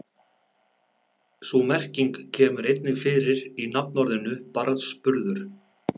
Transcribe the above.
Sú merking kemur einnig fyrir í nafnorðinu barnsburður.